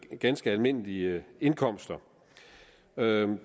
med ganske almindelige indkomster